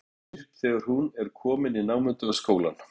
Það styttir upp þegar hún er komin í námunda við skólann.